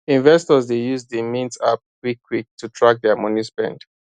investors dey use the mint app quick quick to track their money spend